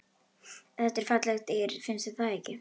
Þetta eru falleg dýr, finnst þér ekki?